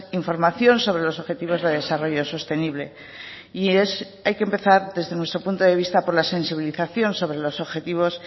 información sobre los objetivos de desarrollo sostenible y hay que empezar desde nuestro punto de vista por la sensibilización sobre los objetivos